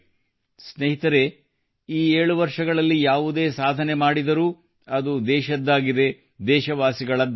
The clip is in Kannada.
ಸ್ನೇಹಿತರೇ ಈ 7 ವರ್ಷಗಳಲ್ಲಿ ಯಾವುದೇ ಸಾಧನೆ ಮಾಡಿದರೂ ಅದು ದೇಶದ್ದಾಗಿದೆ ದೇಶವಾಸಿಗಳದ್ದಾಗಿದೆ